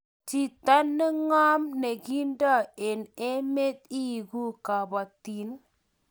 chito neng'om nekiindoi eng eme ileku kabotin?